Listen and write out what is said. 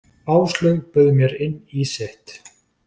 Áslaug bauð mér inn í sitt.